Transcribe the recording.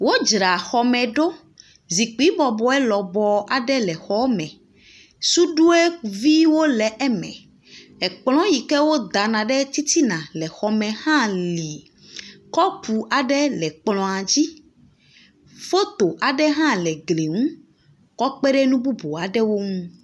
Wodzra xɔme ɖo. Zikpui lɔbɔ aɖe le xɔ me. Suɖuiviwo le eme. Kplɔ̃ yi ke wodana ɖe titina le xɔme hã li. Kɔpu aɖe le kplɔ̃a dzi. Foto aɖe hã le gli ŋu kɔ kpe ɖe nu bubuwo hã ŋu.